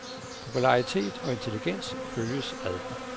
Popularitet og intelligens følges ad.